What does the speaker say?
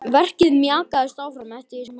Verkið mjakaðist áfram eftir því sem hægt var.